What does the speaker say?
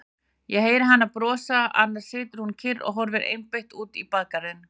Ég heyri hana brosa, annars situr hún kyrr og horfir einbeitt út í bakgarðinn.